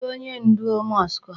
Kedụ onye ndu mosque a?